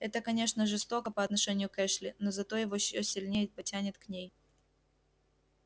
это конечно жестоко по отношению к эшли но зато его ещё сильнее потянет к ней